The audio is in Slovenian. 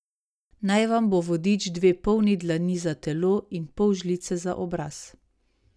Naj vam bo vodič dve polni dlani za telo in pol žlice za obraz.